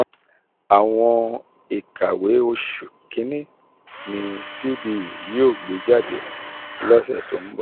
àwọn ìkàwé oṣù kínní kínní ni cbe yóò gbé jáde lọ́sẹ̀ tó ń bọ̀.